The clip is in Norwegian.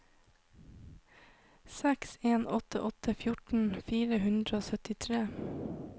seks en åtte åtte fjorten fire hundre og syttitre